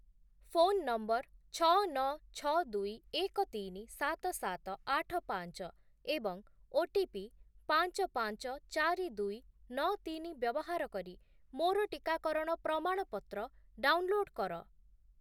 Phone number ଛଅ, ନଅ, ଛଅ, ଦୁଇ, ଏକ, ତିନି, ସାତ, ସାତ, ଆଠ, ପାଞ୍ଚ ଏବଂ ଓଟିପି ପାଞ୍ଚ, ପାଞ୍ଚ, ଚାରି, ଦୁଇ, ନଅ, ତିନି ବ୍ୟବହାର କରି ମୋର ଟିକାକରଣ ପ୍ରମାଣପତ୍ର ଡାଉନ୍‌ଲୋଡ୍ କର ।